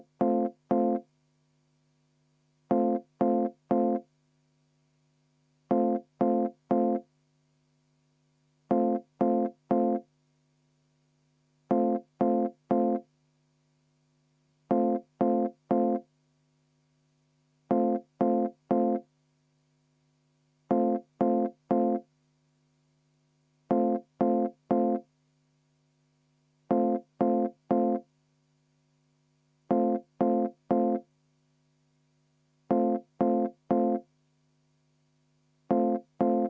V a h e a e g